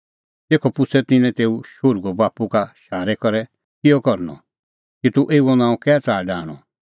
तेखअ पुछ़अ तिन्नैं तेऊ शोहरूए बाप्पू का शारै करै किहअ करनअ कि तूह एऊओ नांअ कै च़ाहा डाहंणअ